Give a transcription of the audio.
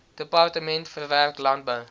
departement verwerk landbou